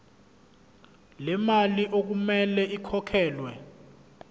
lemali okumele ikhokhelwe